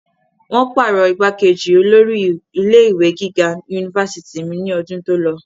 wọ́n pàrọ̀ igbákejì olórí ilé ìwé gíga unifásitì mi ní ọdún tó lọ